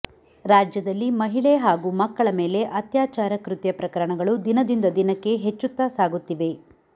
ರಾಜ್ಯದಲ್ಲಿ ಮಹಿಳೆ ಹಾಗೂ ಮಕ್ಕಳ ಮೇಲೆ ಅತ್ಯಾಚಾರ ಕೃತ್ಯ ಪ್ರಕರಣಗಳು ದಿನದಿಂದ ದಿನಕ್ಕೆ ಹೆಚ್ಚುತ್ತಾ ಸಾಗುತ್ತಿವೆ